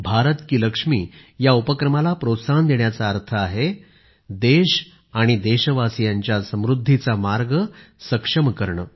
भारत की लक्ष्मी या उपक्रमाला प्रोत्साहन देण्याचा अर्थ आहे देश आणि देशवासियांच्या समृद्धीचा मार्ग सक्षम करणे